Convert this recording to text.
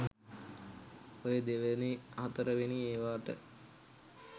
ඔය දෙවැනි හතරවෙනි ඒවාට